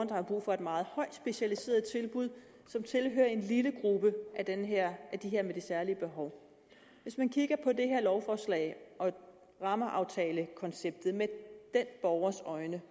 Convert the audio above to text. der har brug for et meget højt specialiseret tilbud og som tilhører en lille gruppe af de her med særlige behov hvis man kigger på det her lovforslag og rammeaftalekonceptet med den borgers øjne